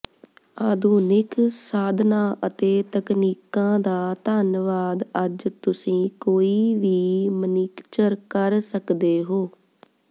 ਆਧੁਨਿਕ ਸਾਧਨਾਂ ਅਤੇ ਤਕਨੀਕਾਂ ਦਾ ਧੰਨਵਾਦ ਅੱਜ ਤੁਸੀਂ ਕੋਈ ਵੀ ਮਨੀਕਚਰ ਕਰ ਸਕਦੇ ਹੋ